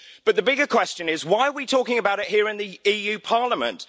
The bigger question is why are we talking about it here in the EU Parliament?